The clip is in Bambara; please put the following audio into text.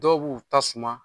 Dɔw b'u ta suma